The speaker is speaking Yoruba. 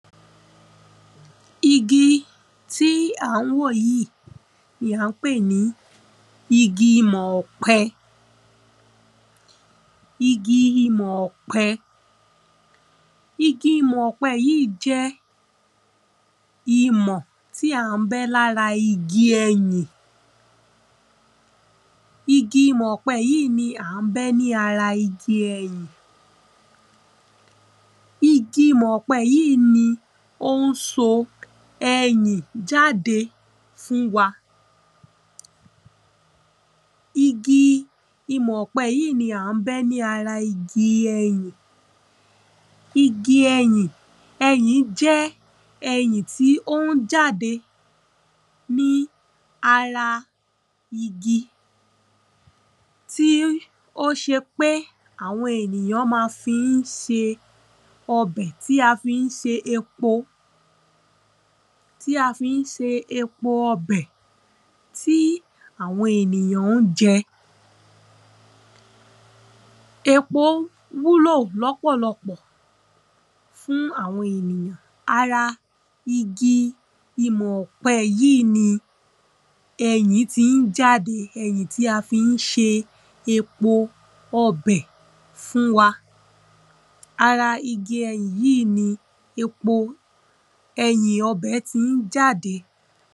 Igi tí à ń wò yí ni à ñ pè ní igi imọ̀ ọ̀pẹ. Igi imọ̀ ọ̀pẹ. Igi imọ̀ yíì jẹ́ imọ̀ tí à ń bẹ́ lára igi ẹyìn. Igi imọ̀ yíì ni à ń bẹ́ lára igi ẹyìn. Igi imọ̀ yíì ni ó ń so ẹyìn jáde fún wa. Igi imọ̀ yíì ni à ń bẹ́ lára igi ẹyìn. Igi ẹyìn ẹyìn jẹ́ ẹyìn tí ó ń jáde ní ara igi. Tí ó ṣe pé àwọn ènìyàn ma fi ń ṣe ọbẹ̀ tí a fí ń se epo. Tí a fí ń se epo ọbẹ̀. Tí àwọn ènìyàn ń jẹ. Epo wúlò lọ́pọ̀lọpọ̀ fún àwọn ènìyàn. Ara igi imọ̀ ọ̀pẹ yíì ni ẹyìn tí ń jáde. Ẹyìn tí a fi ń ṣe epo ọbẹ̀ fún wa. Ara igi ẹyìn yí ni epo ẹyìn ọbẹ̀ ti ń jáde.